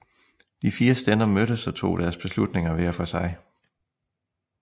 De fire stænder mødtes og tog deres beslutninger hver for sig